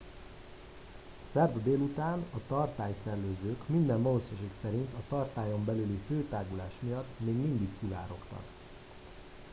szerda délután a tartály szellőzők minden valószínűség szerint a tartályon belüli hőtágulás miatt még mindig szivárogtak